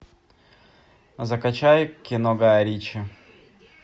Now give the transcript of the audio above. закачай кино гая ричи